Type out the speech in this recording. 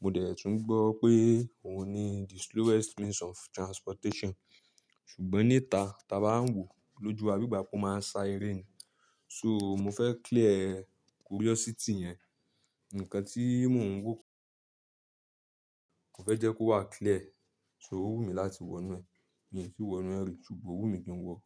mo dẹ̀ tún gbọ́ pé òun ni the slowest means of transportation ṣùgbọ́n níta, ta bá ń wòó lójú wa bígbà pó máa ń sá eré ni. So mo fẹ́ clear curiosity yẹn. Ǹkan tí mo ń wò, mo fẹ́ jẹ́ kó wà clear. So ó wù mí láti wọ inú ẹ̀. Mi ò tí wọ́nú ẹ̀ rí ṣùgbọ́n ó wù mí kí n wọọ.